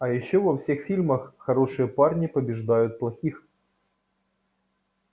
а ещё во всех фильмах хорошие парни побеждают плохих